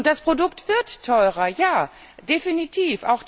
Und das Produkt wird teurer, ja, definitiv!